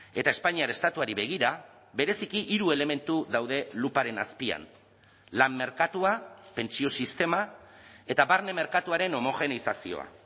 eta espainiar estatuari begira bereziki hiru elementu daude luparen azpian lan merkatua pentsio sistema eta barne merkatuaren homogeneizazioa